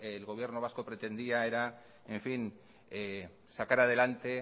el gobierno vasco pretendía era en fin sacar adelante